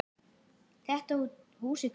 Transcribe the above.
Enda ekki annað hægt.